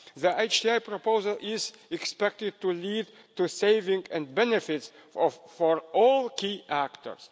The HTA proposal is expected to lead to a saving and benefits for all key actors.